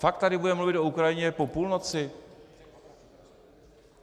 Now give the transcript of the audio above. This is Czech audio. Fakt tady budeme mluvit o Ukrajině po půlnoci?